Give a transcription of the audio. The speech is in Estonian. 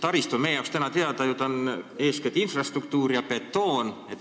Taristu on meie jaoks eeskätt infrastruktuur ja betoon.